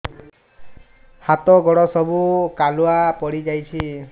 ହାତ ଗୋଡ ସବୁ କାଲୁଆ ପଡି ଯାଉଛି